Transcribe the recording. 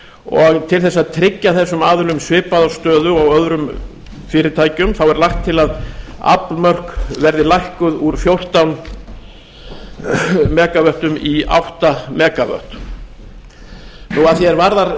og til þess að tryggja þessum aðilum svipaða stöðu og öðrum fyrirtækjum er lagt til að aflmörk verði lækkuð úr mega vöttum í átta mega vöttum að því er varðar